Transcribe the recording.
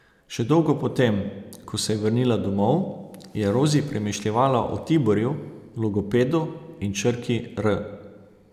Še dolgo po tem, ko se je vrnila domov, je Rozi premišljevala o Tiborju, logopedu in črki r.